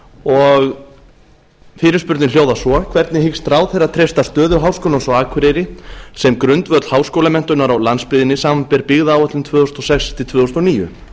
og fyrirspurnin hljóðar svo hvernig hyggst ráðherra treysta stöðu háskólans á akureyri sem grundvöll háskólamenntunar á landsbyggðinni samanber byggðaáætlun tvö þúsund og sex til tvö þúsund og níu